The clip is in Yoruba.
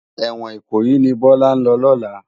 Èwòn Ikoyi ni Bola n lò lòlá